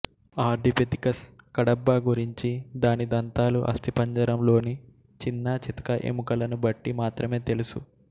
Ardipithecus kadabba గురించి దాని దంతాలు అస్థిపంజరంలోని చిన్నా చితకా ఎముకలను బట్టి మాత్రమే తెలుసు